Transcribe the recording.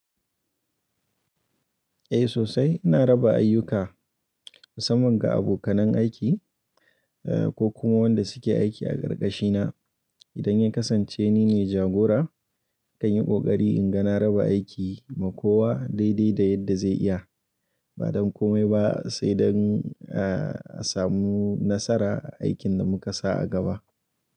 Eh sosai ina raba ayyuka musamman ga abokanan aiki eh, ko kuma wanda suke aiki a karkashi na. Idan ya kasance nine jagora kan yi ƙoƙari inga na raba aiki ma kowa daidai da yadda zai iya. Ba don kome ba sai don ah a samu nasara a aikin da muka sa a gaba.